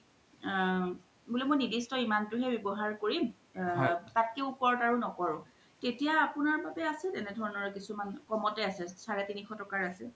আ বুলে মই নিৰ্দিষ্ট ইমানতোৱে ৱ্যাবহাৰ কৰিম তাতকে উপৰত আৰু নকৰো তেতিয়া আছে তেনে ধৰনৰ আছে কম্তে আছে চাৰেতিনিশ তকাৰ আছে